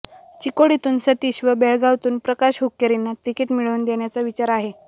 चिकोडीतून सतीश व बेळगातून प्रकाश हुक्केरींना तिकीट मिळवून देण्याचा विचार आहेे